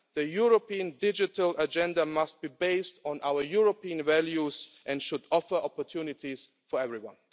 The European digital agenda must be based on our European values and should offer opportunities for everyone.